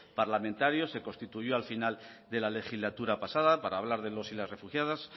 parlamentario se constituyó al final de la legislatura pasada para hablar de los y las refugiadas